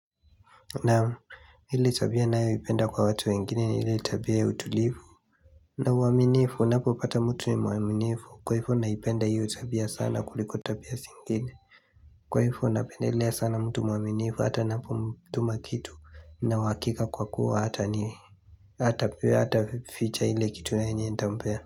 Naam ile tabia ninayoipenda kwa watu wengine ni ile tabia ya utulivu na uaminifu ninapo pata mtu ni mwaminifu kwa hivyo naipenda hiyo tabia sana kuliko tabia zingine Kwa hivyo napendelea sana mtu mwaminifu hata ninapomtuma kitu nina uhakika kwa kuwa hatani hataficha ile kitu yenye nitampea.